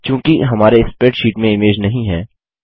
चूँकि हमारे स्प्रैडशीट में इमेज नहीं है